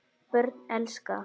Börn elska.